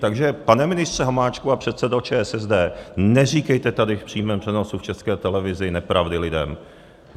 Takže pane ministře Hamáčku a předsedo ČSSD, neříkejte tady v přímém přenosu v České televizi nepravdy lidem.